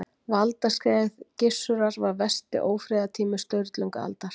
Valdaskeið Gissurar var versti ófriðartími Sturlungaaldar.